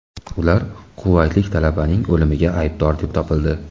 Ular quvaytlik talabaning o‘limida aybdor deb topildi.